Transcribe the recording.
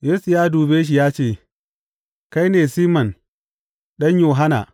Yesu ya dube shi ya ce, Kai ne Siman ɗan Yohanna.